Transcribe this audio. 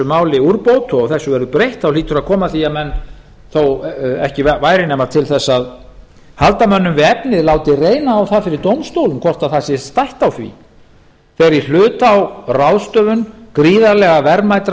máli úrbót og þessu verður breytt hlýtur að koma að því að menn þó ekki væri nema til þess að halda mönnum við efnið láti reyna á það fyrir dómstólum hvort það sé stætt á því þegar í hlut á ráðstöfun gríðarlega verðmætra